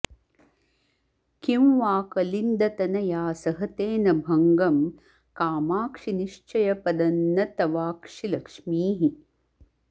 किं वा कलिन्दतनया सहते न भङ्गं कामाक्षि निश्चयपदं न तवाक्षिलक्ष्मीः